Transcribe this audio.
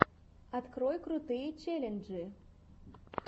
открой крутые челленджи